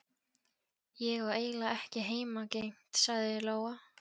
Ég á eiginlega ekki heimangengt, sagði Lóa.